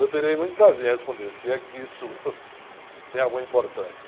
Eu terei muito prazer em responder, se é que isso tem alguma importância.